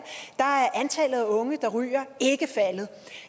er antallet af unge der ryger ikke faldet